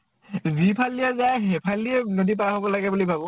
যিফালেদিয়ে যায় সেইফালেদিয়ে নদী পাৰ হব লাগে বুলি ভাবো